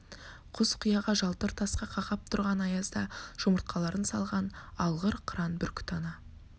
құз-қияға жалтыр тасқа қақап тұрған аязда жүмыртқаларын салған алғыр қыран бүркіт ана